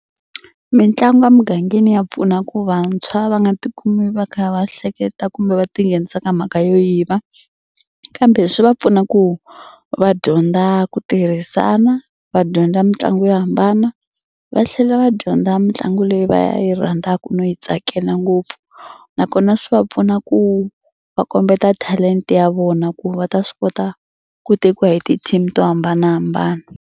Mitlangu a mugangeni ya pfuna ku vantshwa va nga tikumi va kha va hleketa kumbe va tinghenisa ka mhaka yo yiva kambe swi va pfuna ku va dyondza ku tirhisana va dyondza mitlangu yo hambana va tlhela va dyondza mitlangu leyi va yi rhandzaka no yi tsakela ngopfu nakona swi va pfuna ku va kombeta talenta ya vona ku va ta swi kota ku tekiwa hi ti-team to hambanahambana.